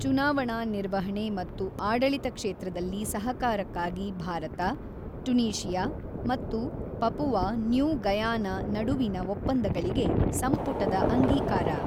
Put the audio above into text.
ಚುನಾವಣಾ ನಿರ್ವಹಣೆ ಮತ್ತು ಆಡಳಿತ ಕ್ಷೇತ್ರದಲ್ಲಿ ಸಹಕಾರಕ್ಕಾಗಿ ಭಾರತ, ಟುನೀಶಿಯಾ ಮತ್ತು ಪಪುವಾ ನ್ಯೂ ಗಯಾನಾ ನಡುವಿನ ಒಪ್ಪಂದಗಳಿಗೆ ಸಂಪುಟದ ಅಂಗೀಕಾರ